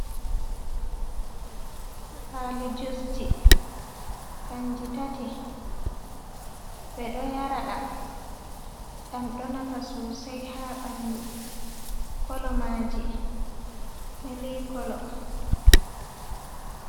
Paali jusji kanji tati. Ɓe ɗo yara ɗam ɗam ɗo nafa sosai ha ɓandu. Kolo maji mili kolo.